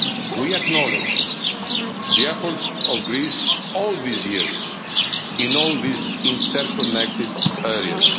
We acknowledge the efforts of Greece all these years, in all these interconnected